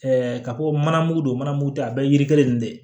ka ko mana mugu don manamugu tɛ a bɛɛ ye yiri kelen nin de ye